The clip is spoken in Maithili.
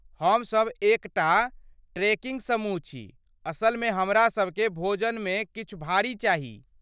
हमसभ एक टा ट्रेकिंग समूह छी, असलमे हमरासभ केँ भोजनमे किछु भारी चाही